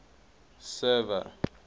server